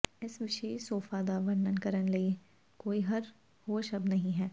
ਇਸ ਵਿਸ਼ੇਸ਼ ਸੋਫਾ ਦਾ ਵਰਣਨ ਕਰਨ ਲਈ ਕੋਈ ਹੋਰ ਸ਼ਬਦ ਨਹੀਂ ਹੈ